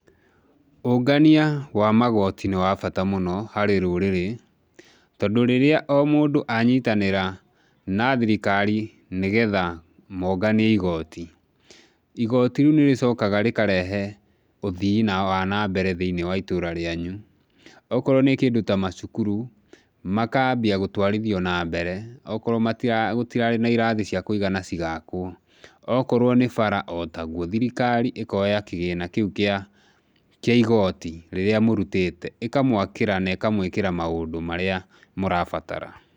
Ũngania wa magoti nĩ wabata mũno harĩ rũrĩrĩ, tondũ rĩrĩa o mũndũ anyitanĩra na thirikari nĩ getha monganie igoti, igoti rĩu nĩrĩcokaga rĩkarehe ũthii na wa nambere thĩiniĩ wa itũra rĩanyu. Okorwo nĩ kĩndũ ta macukuru, makambia gũtwarithio na mbere, okorwo gũtirarĩ na irathi cia kũigana cigakwo, okorwo nĩ bara otaguo, thirikari ĩkoya kĩgĩna kĩu kĩa kĩa igoti rĩrĩa mũrutĩte ĩkamwakĩra na ĩkamwĩkĩra maũndũ marĩa mũrabatara.